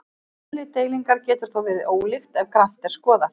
Eðli deilingar getur þó verið ólíkt ef grannt er skoðað.